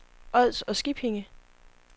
Ods og Skippinge